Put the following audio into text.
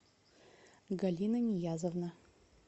галина ниязовна